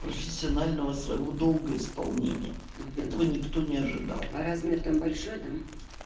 профессионального своего долга исполнения этого никто не ожидал а размер там большой да